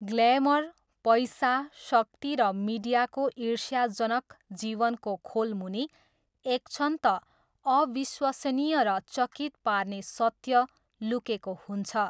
Glamour, पैसा, शक्ति र मिडियाको ईर्ष्याजनक जीवनको खोलमुनि एकक्षण त अविश्वसनीय र चकित पार्ने सत्य लुकेको हुन्छ।